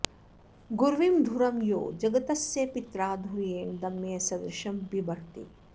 गुर्वीं धुरं यो जगतस्य पित्रा धुर्येण दम्यः सदृशं बिभर्ति